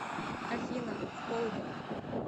афина в полдень